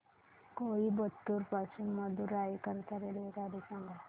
कोइंबतूर पासून मदुराई करीता रेल्वेगाडी सांगा